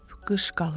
qış qalıb.